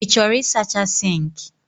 Ị chọrọ ịsacha sink?